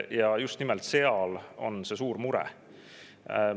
Ja just nimelt selles on see suur mure.